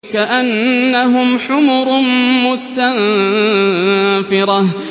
كَأَنَّهُمْ حُمُرٌ مُّسْتَنفِرَةٌ